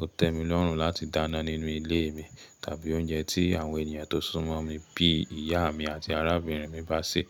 Ó tẹ́ mi lọ́rùn láti dáná nínú ilé mi tàbí oúnjẹ tí àwọn ènìyàn tó súnmọ́ mi bí ìyá mi àti arábìnrin mi bá sè.